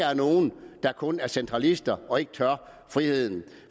er nogle der kun er centralister og ikke tør friheden